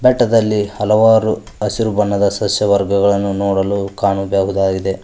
ಬೆಟ್ಟದಲ್ಲಿ ಹಲವಾರು ಹಸಿರು ಬಣ್ಣದ ಸಸ್ಯವರ್ಗಳನ್ನು ನೋಡಲು ಕಾಣಬಹುದಾಗಿದೆ.